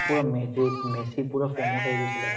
পৰা মেচীত মেচী পূৰা form ত আহি গৈছিলে